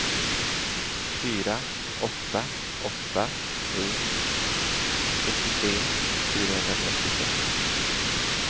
fyra åtta åtta tre sjuttiotre fyrahundratrettiosex